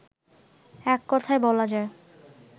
এককথায় বলা যায়